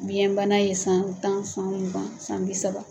Biɲɛ bana ye san tan, san mugan, san bi saba.